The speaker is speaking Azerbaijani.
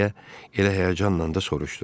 Deyə elə həyəcanla da soruşdu.